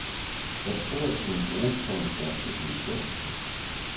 Jeg tror, at det kunne bruges som en slags definition.